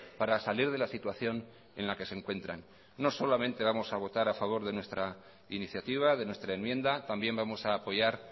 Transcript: para salir de la situación en la que se encuentran no solamente vamos a votar a favor de nuestra iniciativa de nuestra enmienda también vamos a apoyar